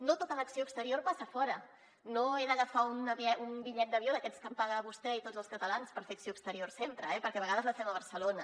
no tota l’acció exterior passa a fora no he d’agafar un bitllet d’avió d’aquests que em paguen vostè i tots els catalans per fer acció exterior sempre eh perquè a vegades la fem a barcelona